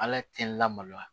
Ala tɛ lamaloya